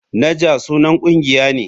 Naja sunan kungiya ne.